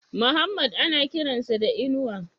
Muhammad ana kiran sa da Inuwa?